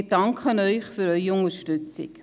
Wir danken Ihnen für Ihre Unterstützung.